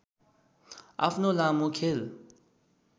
आफ्नो लामो खेल